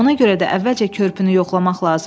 Ona görə də əvvəlcə körpünü yoxlamaq lazımdır.